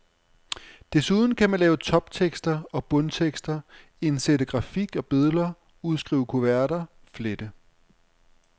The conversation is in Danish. Desuden kan man lave toptekster og bundtekster, indsætte grafik og billeder, udskrive kuverter, flette.